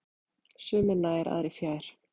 Sumir nær, aðrir fjær.